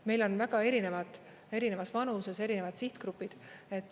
Meil on väga erinevad, erinevas vanuses erinevad sihtgrupid.